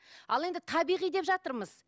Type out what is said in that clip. ал енді табиғи деп жатырмыз